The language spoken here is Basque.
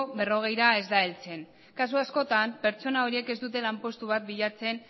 berrogeira ez da heltzen kasu askotan pertsona horiek ez dute lanpostu bat bilatzen